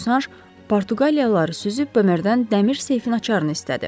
Bosanş Portuqaliyalıları süzüb Bemerden dəmir seyfin açarını istədi.